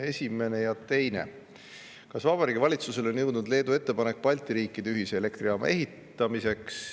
Esimene ja teine küsimus: "Kas Vabariigi Valitsuseni on jõudnud Leedu ettepanek Balti riikide ühise elektrijaama ehitamiseks?